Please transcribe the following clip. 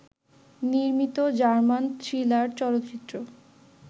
নির্মিত German thriller চলচ্চিত্র